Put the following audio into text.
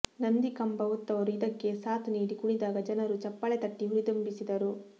ನಂದಿಕಂಬ ಹೊತ್ತವರು ಇದಕ್ಕೆ ಸಾಥ್ ನೀಡಿ ಕುಣಿದಾಗ ಜನರು ಚಪ್ಪಾಳೆ ತಟ್ಟಿ ಹುರಿದುಂಬಿಸಿದರು